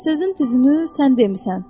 Sözün düzünü sən demisən.